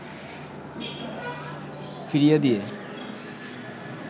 ফিরিয়ে দিয়ে